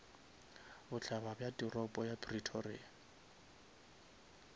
bohlaba bja toropo ya pretoria